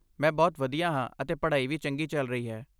ਮੈਂ ਬਹੁਤ ਵਧੀਆ ਹਾਂ ਅਤੇ ਪੜ੍ਹਾਈ ਵੀ ਚੰਗੀ ਚੱਲ ਰਹੀ ਹੈ।